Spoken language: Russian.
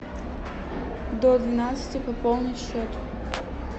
до двенадцати пополнить счет